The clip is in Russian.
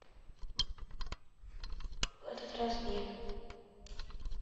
в этот раз нет